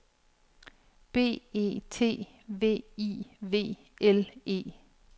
B E T V I V L E